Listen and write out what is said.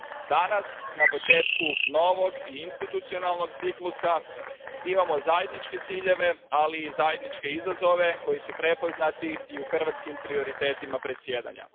Danas na početku novog i institucionalnog ciklusa imamo zajedničke ciljeve, ali i zajedničke izazove, koji su prepoznati i u hrvatskim prioritetima predsjedanja.